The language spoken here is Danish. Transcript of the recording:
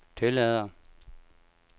tillader